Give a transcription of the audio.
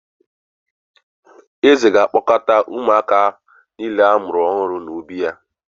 Eze ga-akpọkọta ụmụaka niile a mụrụ ọhụrụ n’obí ya